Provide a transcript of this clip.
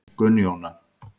Gunnjóna